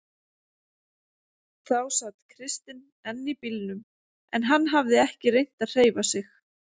Þá sat Kristinn enn í bílnum en hafði ekki reynt að hreyfa sig.